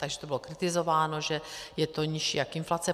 Takže to bylo kritizováno, že je to nižší jak inflace.